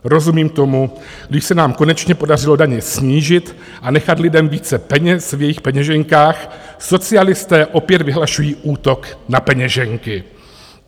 Rozumím tomu, když se nám konečně podařilo daně snížit a nechat lidem více peněz v jejich peněženkách, socialisté opět vyhlašují útok na peněženky.